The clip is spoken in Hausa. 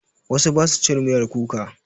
Wasu ba su cin miyar kuka.